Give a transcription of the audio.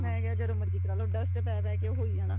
ਮੈਂ ਕਿਹਾ ਜਦੋਂ ਮਰਜੀ ਕਰਾਲੋ dust ਪੈ ਪੈ ਕੇ ਉਹ ਹੋਈ ਜਾਣਾ